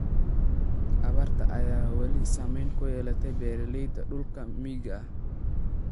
Abaarta ayaa weli saameyn ku yeelatay beeraleyda dhulka miyiga ah.